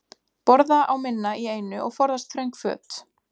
Borða á minna í einu og forðast þröng föt.